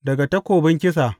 Daga takobin kisa.